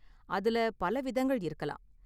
அதுல பல விதங்கள் இருக்கலாம்.